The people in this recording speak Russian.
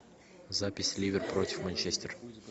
запись ливер против манчестер